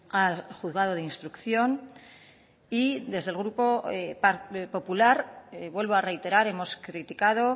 al juzgado de instrucción y desde el grupo popular vuelvo a reiterar hemos criticado